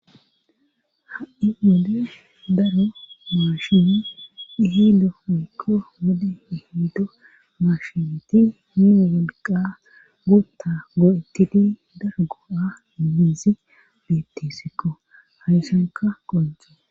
Ha'i mode daro maashimi ihido miikko wode ihiido maashimeti mu wolqa guutta go7ettidi dargo7a biizi bettissikko hashanka qonco